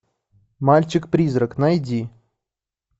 мальчик призрак найди